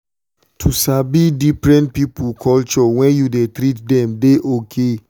to sabi different people culture when you dey treat them dey okay.